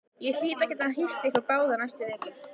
Ég hlýt að geta hýst ykkur báða næstu vikurnar